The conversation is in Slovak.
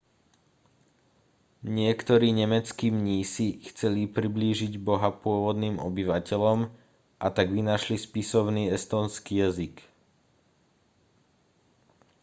niektorí nemeckí mnísi chceli priblížiť boha pôvodným obyvateľom a tak vynašli spisovný estónsky jazyk